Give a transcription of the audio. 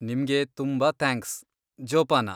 ನಿಮ್ಗೆ ತುಂಬಾ ಥ್ಯಾಂಕ್ಸ್, ಜೋಪಾನ.